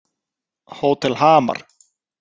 Hótel Hamar